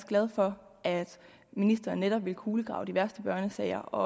glad for at ministeren netop vil kulegrave de værste børnesager og